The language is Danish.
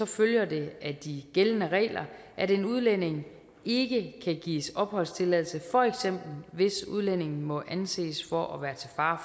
følger det af de gældende regler at en udlænding ikke kan gives opholdstilladelse for eksempel hvis udlændingen må anses for at være til fare